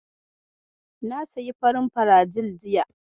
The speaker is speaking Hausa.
Na sayi farin filajil jiya.